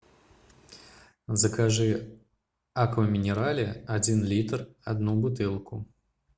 закажи аква минерале один литр одну бутылку